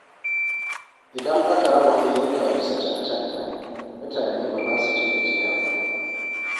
Idan aka raba ayyuka bisa cancanta, mutane ba za su ji gajiya ba.